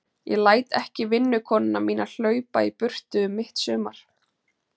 Ég læt ekki vinnukonuna mína hlaupa í burtu um mitt sumar.